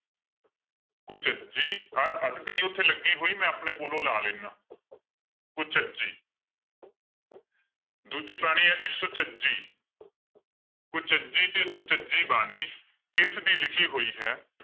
ਕੁਚਜੀ ਅਹ ਅੱਧਕ ਨੀ ਉੱਥੇ ਲੱਗੀ ਹੋਈ ਮੈਂ ਆਪਣੇ ਕੋਲੋਂ ਲਾ ਲੈਨਾ ਕੁਚਜੀ ਦੂਜੀ ਬਾਣੀ ਹੈ ਜੀ ਸੁਚਜੀ ਕੁਚਜੀ ਤੇ ਸੁਚਜੀ ਬਾਣੀ ਕਿਸਦੀ ਲਿਖੀ ਹੋਈ ਹੈ?